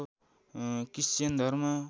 Christian धर्म